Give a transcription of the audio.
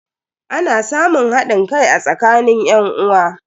Ana samun hadin kai a tsakanin yan'uwa.